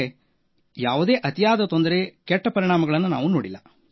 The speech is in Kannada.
ಆದರೆ ಯಾವುದೇ ಅತಿಯಾದ ತೊಂದರೆ ಕೆಟ್ಟ ಪರಿಣಾಮಗಳನ್ನು ನಾವು ನೋಡಿಲ್ಲ